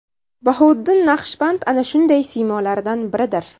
Bahouddin Naqshband ana shunday siymolardan biridir.